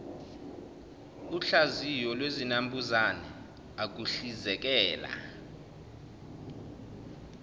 uhlaziyo lwezinambuzane ukuhlizekela